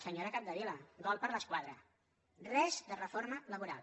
senyora capdevila gol per l’escaire res de reforma laboral